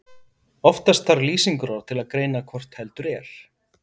Oftast þarf lýsingarorð til að greina hvort heldur er.